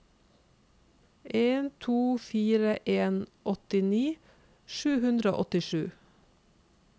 en to fire en åttini sju hundre og åttisju